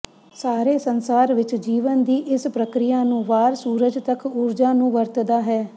ਸਾਰੇ ਸੰਸਾਰ ਵਿੱਚ ਜੀਵਨ ਦੀ ਇਸ ਪ੍ਰਕਿਰਿਆ ਨੂੰ ਵਾਰ ਸੂਰਜ ਤੱਕ ਊਰਜਾ ਨੂੰ ਵਰਤਦਾ ਹੈ